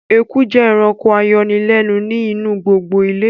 Eku jẹ́ ẹranko ayọnilẹ́nu ni inu gbogbo ilé